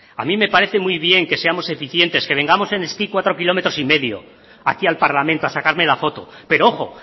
a mí me parece muy bien que seamos eficientes que vengamos en esquí cuatro kilómetros y medio aquí al parlamento a sacarme la foto pero ojo